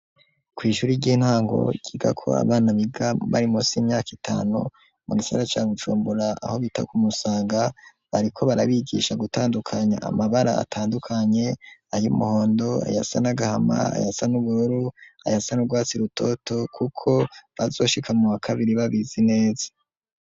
Kw'ishure ry'intango ryigako abana biga bari munsi y'imyaka itanu, mu gisagara ca Bujumbura, aho bita ku Musaga, bariko barabigisha gutandukanya amabara atandukanye, ay'umuhondo, ayasa n'agahama ayasa n'ubururu, ayasa n'urwasi rutoto kuko bazoshika muwa kabiri babizi neza.